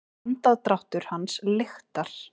Andardráttur hans lyktar.